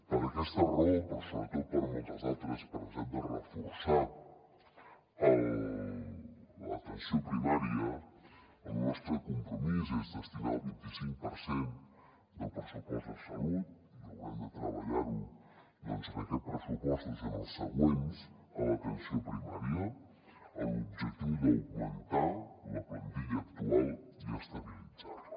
per aquesta raó però sobretot per moltes altres per la necessitat de reforçar l’atenció primària el nostre compromís és destinar el vint i cinc per cent del pressupost de salut i haurem de treballar ho doncs en aquests pressupostos i en els següents a l’atenció primària amb l’objectiu d’augmentar la plantilla actual i estabilitzar la